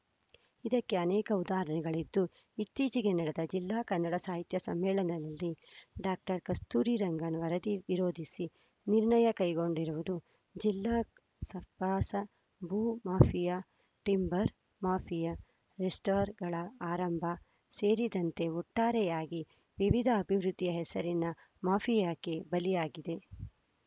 ಇದಕ್ಕೆ ಅನೇಕ ಉದಾಹರಣೆಗಳಿದ್ದೂ ಇತ್ತೀಚೆಗೆ ನಡೆದ ಜಿಲ್ಲಾ ಕನ್ನಡ ಸಾಹಿತ್ಯ ಸಮ್ಮೇಳನದಲ್ಲಿ ಡಾಕ್ಟರ್ ಕಸ್ತೂರಿ ರಂಗನ್‌ ವರದಿ ವಿರೋಧಿಸಿ ನಿರ್ಣಯ ಕೈಗೊಂಡಿರುವುದು ಜಿಲ್ಲಾ ಸಕಾಸ ಭೂ ಮಾಫಿಯಾ ಟಿಂಬರ್‌ ಮಾಫಿಯಾ ರೆಸ್ಟಾರ್ ಗಳ ಆರಂಭ ಸೇರಿದಂತೆ ಒಟ್ಟಾರೆಯಾಗಿ ವಿವಿಧ ಅಭಿವೃದ್ಧಿಯ ಹೆಸರಿನ ಮಾಫಿಯಾಕ್ಕೆ ಬಲಿಯಾಗಿದೆ